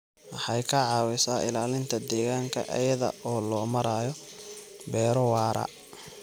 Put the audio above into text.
Waxay ka caawisaa ilaalinta deegaanka iyada oo loo marayo beero waara.